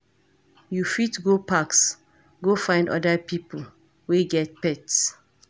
You fit go parks go find oda pipo wey get pets